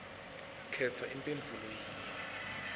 khetsa imphendvulo yinye